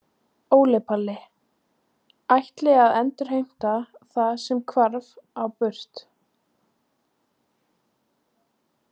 Óli Palli: Ætla að endurheimta það sem hvarf á braut